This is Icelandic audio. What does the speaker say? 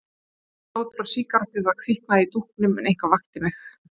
Ég sofnaði út frá sígarettu og það kviknaði í dúknum en eitthvað vakti mig.